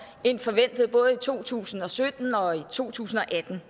end forventet både i to tusind og sytten og i to tusind og atten